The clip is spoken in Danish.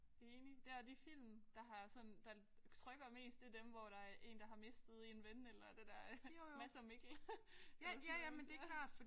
Enig. Der de film der har sådan der trykker mest det er dem hvor der er en der har mistet en ven eller det der Mads og Mikkel og sådan noget